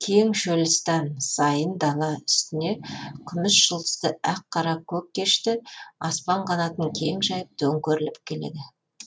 кең шөлістан сайын дала үстіне күміс жұлдызды ақ қара көк кешкі аспан қанатын кең жайып төңкеріліп келеді